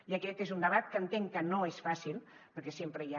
i aquest és un debat que entenc que no és fàcil perquè sempre hi ha